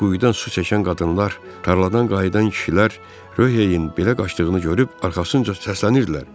Quyudan su çəkən qadınlar, tarladan qayıdan kişilər, Röheyin belə qaçdığını görüb arxasınca səslənirdilər: